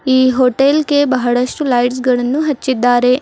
ಈ ಹೋಟೆಲ್ ಗೆ ಬಹಳಷ್ಟು ಲೈಟ್ಸ್ ಗಳನ್ನು ಹಚ್ಚಿದ್ದಾರೆ.